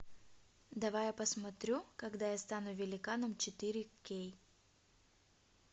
давай я посмотрю когда я стану великаном четыре кей